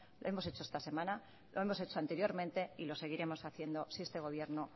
lo hemos hecho esta semana lo hemos hecho anteriormente y lo seguiremos haciendo si este gobierno